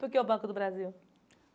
Por que o Banco do Brasil?